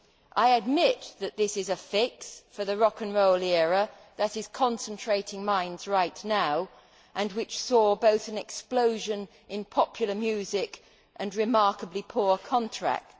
I admit that this is a fix for the rock and roll era, which is concentrating minds right now and which saw both an explosion in popular music and remarkably poor contracts.